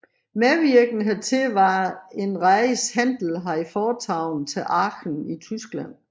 Medvirkende hertil var en rejse Händel havde foretaget til Aachen i Tyskland